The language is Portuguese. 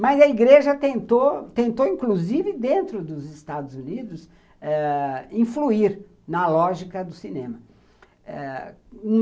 Mas a igreja tentou, inclusive dentro dos Estados Unidos eh, influir na lógica do cinema eh.